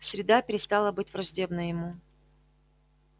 среда перестала быть враждебной ему